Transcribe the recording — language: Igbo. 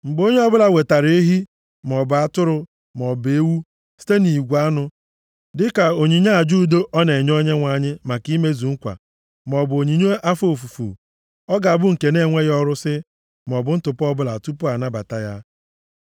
Mgbe onye ọbụla wetara ehi maọbụ atụrụ maọbụ ewu site nʼigwe anụ, dịka onyinye aja udo ọ na-enye Onyenwe anyị maka imezu nkwa, maọbụ onyinye afọ ofufu, ọ ga-abụ nke na-enweghị ọrụsị maọbụ ntụpọ ọbụla tupu a nabata ya.